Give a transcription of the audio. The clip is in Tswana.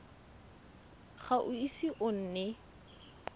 ga o ise o nne